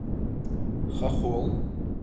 хохол